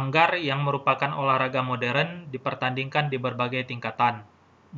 anggar yang merupakan olahraga modern dipertandingkan di berbagai tingkatan